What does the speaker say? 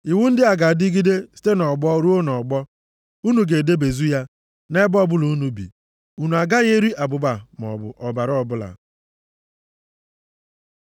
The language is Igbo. “ ‘Iwu ndị a ga-adịgide site nʼọgbọ ruo nʼọgbọ. Unu ga-edebezu ya nʼebe ọbụla unu bi. Unu agaghị eri abụba maọbụ ọbara ọbụla.’ ”+ 3:17 \+xt Lev 7:25-26; 17:10-14.\+xt*